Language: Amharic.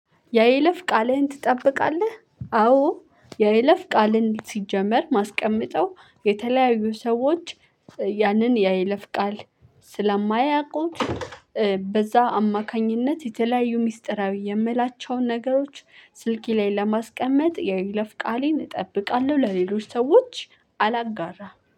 የይለፍ ቃልህን ትጠብቃለህ አዎ የይለፍ ቃልን ሲጀመር ማስቀመጠው የተለያዩ ሰዎች ያንን ያይለፍቃል ስለማያውቁት በዛ አማካኝነት የተለያዩ ሚስጥራዊ የምላቸውን ነገሮች ስልኬ ላይ ለማስቀመጥ የይለፍ ቃሌን እጠብቃለሁ። ለሌሎች ሰዎች አላጋራም